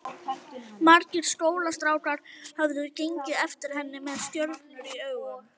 Margir skólastrákar höfðu gengið eftir henni með stjörnur í augum.